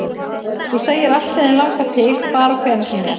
Þú segir allt sem þig langar til, hvar og hvenær sem er